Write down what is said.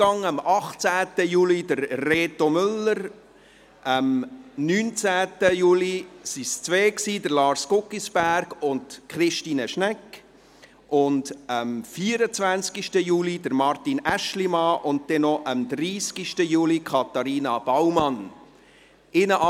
Am 18. Juli Reto Müller, am 19. Juli waren es zwei, Lars Guggisberg und Christine Schnegg, und am 24. Juli Martin Aeschlimann, und dann noch am 30. Juli Katharina Baumann-Berger.